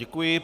Děkuji.